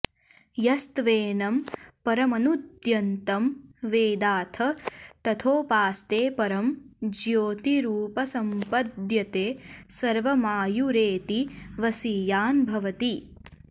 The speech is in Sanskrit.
यस्त्वेनं परमनूद्यन्तं वेदाथ तथोपास्ते परं ज्योतिरुपसम्पद्यते सर्वमायुरेति वसीयान् भवति